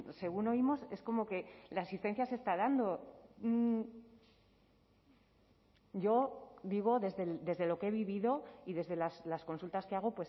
según oímos es como que la asistencia se está dando yo digo desde lo que he vivido y desde las consultas que hago